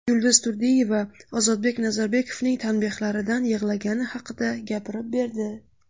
Yulduz Turdiyeva Ozodbek Nazarbekovning tanbehlaridan yig‘lagani haqida gapirib berdi .